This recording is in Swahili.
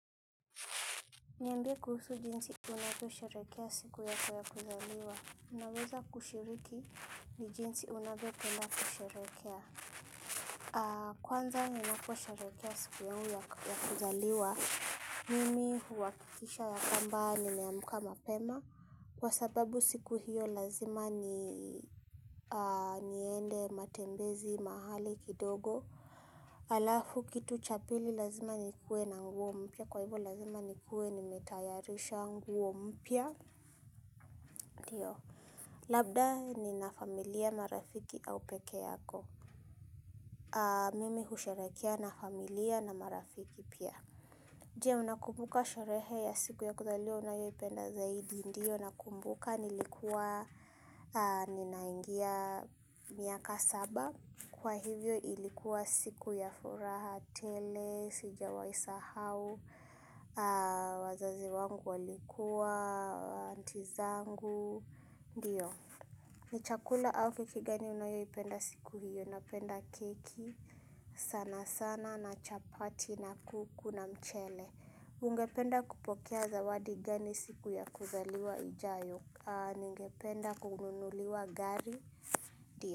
Niambie kuhusu jinsi unavyosherehekea siku yako ya kuzaliwa. Unaweza kushiriki ni jinsi unavyopenda kusherehekea. Kwanza ninaposherehekea siku yangu ya kuzaliwa. Mimi huhakikisha ya kwamba nimeamka mapema. Kwa sababu siku hiyo lazima niende matembezi mahali kidogo. Alafu kitu cha pili lazima nikue na nguo mpya kwa hivyo lazima nikue nimetayarisha nguo mpya labda nina familia, marafiki au peke yako mimi husherehekea na familia na marafiki pia je, unakumbuka sherehe ya siku ya kuzaliwa unayopenda zaidi ndio nakumbuka nilikuwa ninaingia miaka saba Kwa hivyo ilikuwa siku ya furaha tele, sijawahi isahau, wazazi wangu walikuwa, anti zangu, ndiyo. Ni chakula au keki gani unayoipenda siku hiyo, napenda keki, sana sana na chapati na kuku na mchele. Ungependa kupokea zawadi gani siku ya kuzaliwa ijayo, ningependa kununuliwa gari, ndiyo.